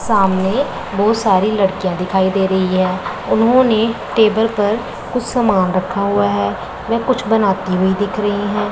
सामने बहुत सारी लड़कियां दिखाई दे रही है। उन्होंने टेबल पर कुछ समान रखा है। वे कुछ बनती हुई दिख रही है।